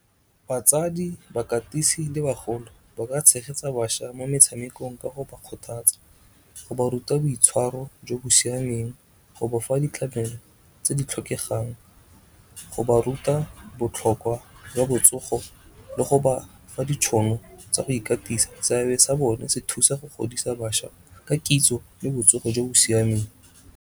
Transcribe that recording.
Batsadi, bakatisi le bagolo ba ka tshegetsa bašwa mo metshamekong ka go ba kgothatsa, go ba ruta boitshwaro jo bo siameng, go ba fa ditlamelo tse di tlhokegang, go ba ruta botlhokwa jwa botsogo le go ba fa ditšhono tsa go ikatisa. Seabe sa bone se thusa go godisa bašwa ka kitso le botsogo jo bo siameng.